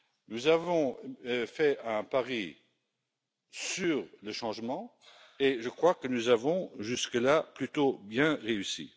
Nous avons fait un pari sur le changement et je crois que nous avons jusque là plutôt bien réussi.